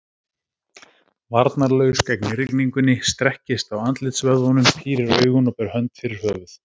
Varnarlaus gegn rigningunni, strekkist á andlitsvöðvunum, pírir augun og ber hönd fyrir höfuð.